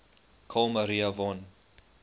carl maria von